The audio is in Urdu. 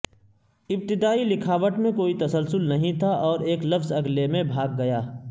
ابتدائی لکھاوٹ میں کوئی تسلسل نہیں تھا اور ایک لفظ اگلے میں بھاگ گیا